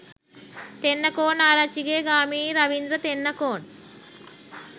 Tennakoon Arachchige Gamini Ravindra Tennakoon .